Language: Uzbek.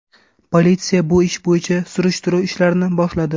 Politsiya bu ish bo‘yicha surishtiruv ishlarini boshladi.